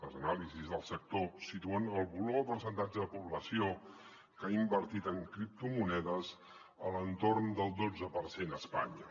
les anàlisis del sector situen el volum o percentatge de població que ha invertit en cripto monedes a l’entorn del dotze per cent a espanya